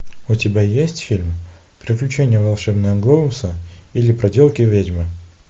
у тебя есть фильм приключения волшебного глобуса или проделки ведьмы